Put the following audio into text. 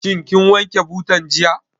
Shin kin wanke butan jiya?